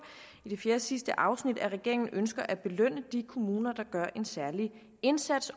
i fjerdesidste afsnit at regeringen ønsker at belønne de kommuner der gør en særlig indsats